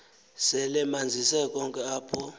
selemanzise konke apha